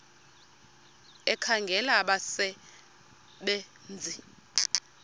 ekhangela abasebe nzi